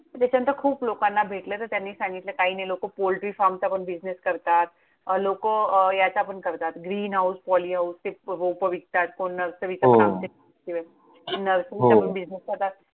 त्याच्यानंतर खूप लोकांना भेटले तर त्यांनी सांगितलं काही नाही. लोकं Poultry फार्मचा पण business करतात. अं लोकं याचा पण करतात, Green House, Polyhouse ते रोपं विकतात. कोण नर्सरीचा हो हो नर्सरीचा पण business करतात.